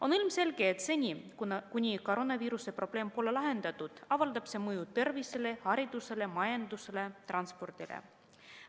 On ilmselge, et seni kuni koroonaviiruse probleem pole lahendatud, avaldab see mõju tervisele, haridusele, majandusele, transpordile.